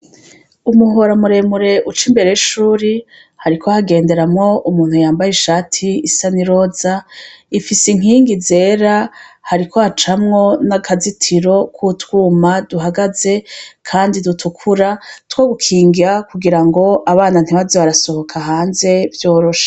Umuhora muremure cane uca imbere y'ishure hariko hagenderamwo umuntu yambaye ishati isa n'iroza ifise inkingi zera hariko hacamwo n'akazitiro k'utwuma duhagaze kandi dutukura two gukinga kugirango abana ntibaze barasohoka hanze vyoroshe.